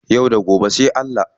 Yau da gobe sai Allah.